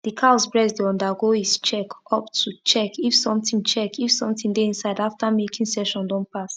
the cows breast dey undergo is check up to check if something check if something dey inside after milking session don pass